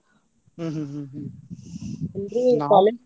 ಹ್ಮ್ ಹ್ಮ್ ಹ್ಮ್ ಹ್ಮ್ .